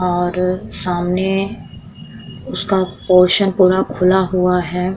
और सामने उसका पोर्शन पूरा खुला हुआ है।